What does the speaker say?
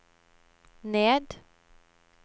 ned